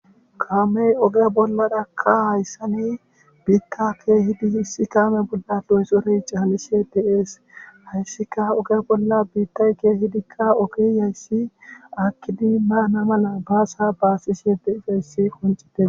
Kaame oge bollarakka hayssani biita keehidi de'ees hayssikka oge bolla biitay keehidikka oge dizayssi aakidi daana mala baasa baasishe de'izayssi qonccideskko